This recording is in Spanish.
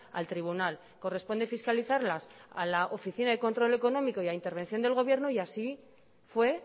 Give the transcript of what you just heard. al tribunal corresponde fiscalizarlas a la oficina de control económico y a intervención del gobierno y así fue